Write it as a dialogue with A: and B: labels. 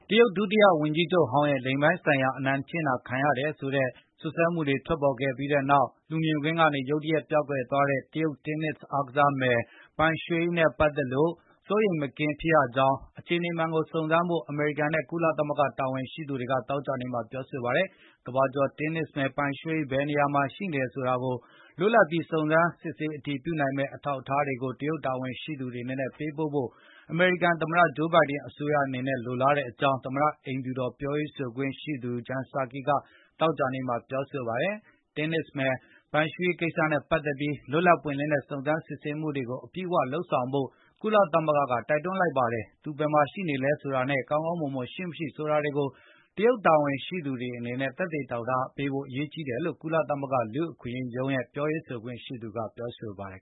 A: တရုတ် ဒုတိယဝန်ကြီးချုပ်ဟောင်းရဲ့ လိင်ပိုင်းဆိုင်ရာအနိုင်ကျင့်တာ ခံခဲ့ရတယ်ဆိုတဲ့ စွပ်စွဲချက်တွေထွက်ပေါ်ခဲ့ပြီးနောက် လူမြင်ကွင်းကနေ ရုတ်တရက်ပျောက်ကွယ်သွားတဲ့ တရုတ်တင်းနစ်အားကစားမယ် Peng Shuai နဲ့ ပတ်သက်လို့ စိုးရိမ်မကင်း ဖြစ်ရကြောင်းနဲ့ အခြေအနေမှန်ကို စုံစမ်းဖို့ အမေရိကန် နဲ့ ကုလသမဂ္ဂတာဝန်ရှိ သူတွေက သောကြာနေ့မှာ ပြောဆိုလိုက်ပါတယ်။ ကမ္ဘာကျော်တင်းနစ်မယ် Peng Shuai ဘယ်နေရာမှာရှိနေတယ်ဆိုတာကို လွတ်လပ်ပြီး၊ စုံစမ်းအတည်ပြုနိုင်မယ့် အထောက်အထားတွေကို တရုတ်တာဝန်ရှိသူတွေအနေနဲ့ ပေးဖို့ အမေရိကန်သမတဂျိုးဘိုင်ဒင်အစိုးရအနေနဲ့ လိုလားတယ်လို့ သမတအိမ်ဖြူတော် ပြောရေးဆို ခွင့်ရှိသူ Jen Psaki ကသောကြာနေ့မှာ ပြောဆိုလိုက်ပါတယ်။ တင်းနစ်မယ် Peng Shuai ရဲ့ကိစ္စနဲ့ပတ်သက်ပြီး လွတ်လပ်ပွင့်လင်းတဲ့ စုံးစမ်းစစ်ဆေးမှုကို အပြည့်အဝလုပ်ဆောင်ဖို့ ကုလသမကုလသမဂ္ဂကလည်းတိုက်တွန်းလိုက်ပါတယ်။ သူ ဘယ်မှာရှိနေလဲဆိုတာနဲ့ ကောင်းမွန်စွာရှိမရှိဆိုတာကို တရုတ်တာဝန်ရှိသူတွေအနေနဲ့ သက်သေအထောက်အထားပြ ဖို့ရေးကြီးတယ်လို့ ကုလသမဂ္ဂ လူ့အခွင့်အရေးရုံးရဲ့ပြောရေး ဆိုခွင့်ရှိသူ Liz Throssell ကပြောဆိုခဲ့ပါတယ်